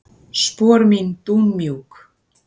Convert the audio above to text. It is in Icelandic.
Spor mín dúnmjúk.